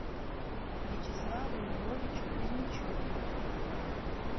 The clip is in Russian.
вячеславу львовичу кузьмичеву